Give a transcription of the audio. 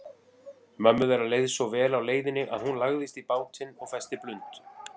Mömmu þeirra leið svo vel á leiðinni að hún lagðist í bátinn og festi blund.